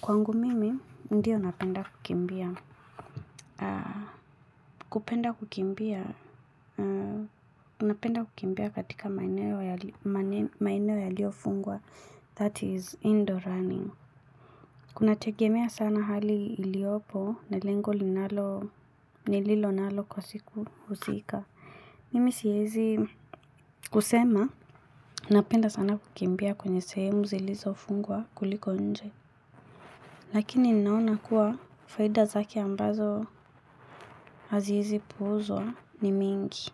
Kwangu mimi ndio napenda kukimbia. Kupenda kukimbia. Unapenda kukimbia katika maeneo yaliyofungwa that is indoor running. Kunategemea sana hali iliopo na lengo linalo nililonalo kwa siku husika. Mimi siezi kusema napenda sana kukimbia kwenye sehemu zilizofungwa kuliko nje. Lakini ninaona kuwa faida zake ambazo haziezi puuzwa ni mingi.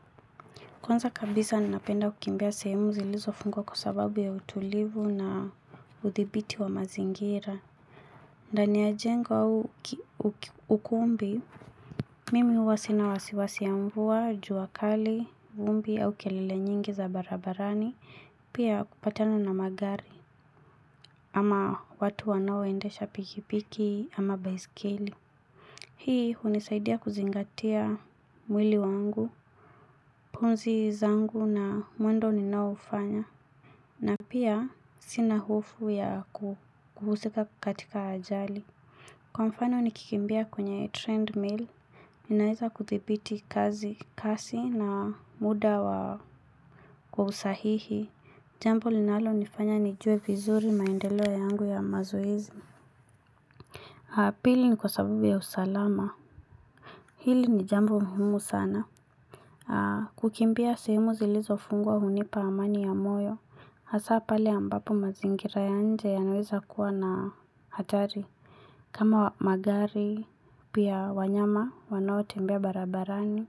Kwanza kabisa napenda kukimbia sehemu zilizofungwa kwa sababu ya utulivu na uthibiti wa mazingira. Ndani ya jengo au ukumbi, mimi huwa sina wasiwasi ya mvua, jua kali, vumbi au kelele nyingi za barabarani, pia kupatana na magari ama watu wanaoendesha pikipiki ama baiskeli. Hii hunisaidia kuzingatia mwili wangu pumzi zangu na mwendo ninaofanya na pia sina hofu ya kuhusika katika ajali. Kwa mfano nikikimbia kwenye trend mill. Ninaeza kuthibiti kazi kasi na muda wa kwa usahihi. Jambo linalonifanya nijue vizuri maendeleo yangu ya mazoezi ya pili ni kwa sababu ya usalama. Hili ni jambo muhimu sana. Kukimbia simu zilizofungwa hunipa amani ya moyo hasa pale ambapo mazingira ya nje yanaweza kuwa na hatari kama magari, pia wanyama, wanao tembea barabarani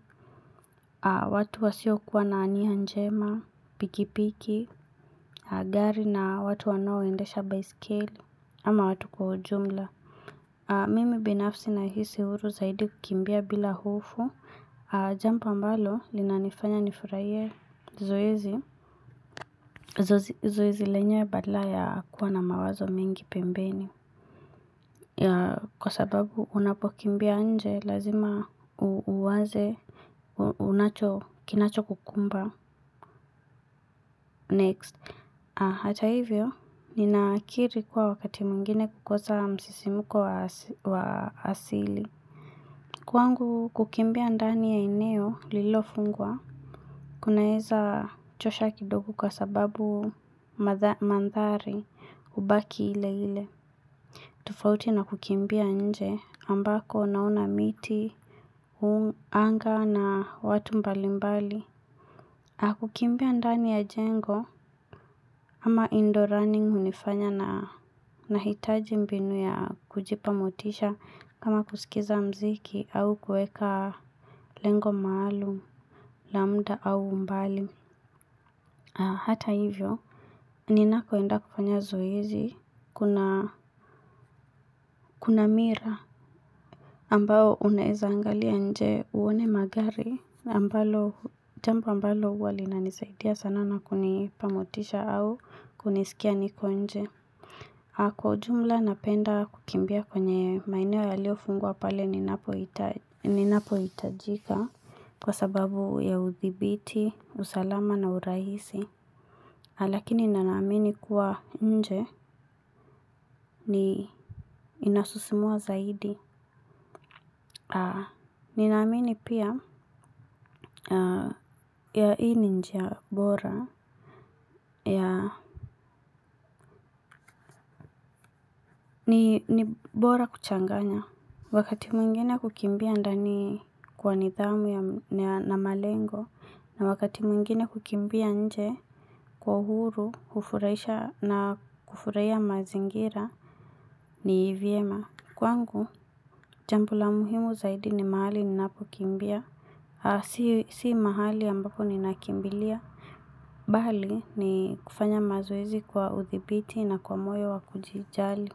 watu wasiokuwa na nia njema, pikipiki, gari na watu wanaoendesha baiskeli ama watu kwa ujumla mimi binafsi nahisi huru zaidi kukimbia bila hofu jambo ambalo linanifanya nifurahie zoezi. Zoezi lenyewe badala ya kuwa na mawazo mengi pembeni. Kwa sababu unapokimbia nje lazima uanze. Unacho kinachokukumba Next. Hata hivyo, ninakiri kuwa wakati mwingine kukosa msisimko wa asili. Kwangu kukimbia ndani ya eneo lilofungwa kunaeza chosha kidogo kwa sababu mandhari kubaki ile ile. Tofauti na kukimbia nje ambako naona miti, anga na watu mbali mbali. Kukimbia ndani ya jengo ama indoor running hunifanya nahitaji mbinu ya kujipa motisha kama kusikiza muziki au kueka lengo maalum, la muda au umbali. Hata hivyo, ninakoenda kufanya zoezi, kuna mira. Ambao unaeza angalia nje uone magari, jambo ambalo huwa linanisaidia sana na kunipa motisha au kunisikia niko nje. Kwa ujumla napenda kukimbia kwenye maeneo yaliyofungwa pale ninapohitajika kwa sababu ya uthibiti, usalama na urahisi. Lakini na naamini kuwa nje ni inasisimua zaidi. Ninaamini pia ya hii ni njia bora ya ni bora kuchanganya. Wakati mwingine kukimbia ndani kwa nidhamu yana malengo na wakati mwingine kukimbia nje kwa uhuru hufurahisha na kufurahia mazingira ni vyema. Kwangu, jambo la muhimu zaidi ni mahali ninapokimbia, si mahali ambapo ninakimbilia. Bali, ni kufanya mazoezi kwa uthibiti na kwa moyo wa kujijali.